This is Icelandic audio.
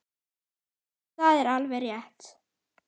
Jú, það er alveg rétt.